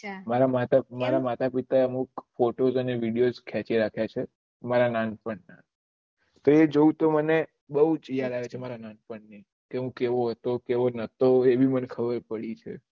મારા માતા પિતા એ અમુક ફોટોસ અંને વિદેઓસ ખેચી રખ્યા છે મારા નાનપણ ના તો એ જોવું તો મને બહુજ યાદ આવે કે મારા નાનપણ ની કે હું કેવો હતો કે કેવો નતો એ ભી મને ખબર પડી છે